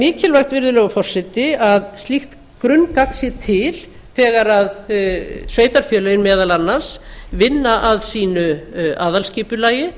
mikilvægt virðulegi forseti að slíkt grunngagn sé til þegar sveitarfélögin meðal annars vinna að sínu aðalskipulagi